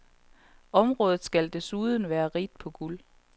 Området skal desuden være rigt på guld.